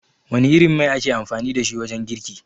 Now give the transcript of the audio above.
Wana irin mai ake amfani dashi wajen girki?